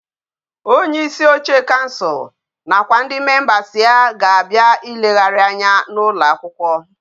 Onye isi oche council na kwa ndi members ya ga abia ileghari anyi na ụlọ akwụkwọ